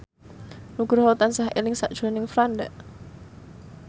Nugroho tansah eling sakjroning Franda